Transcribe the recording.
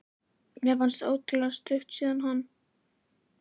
Mér finnst svo ótrúlega stutt síðan hann